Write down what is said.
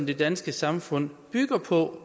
det danske samfund bygger på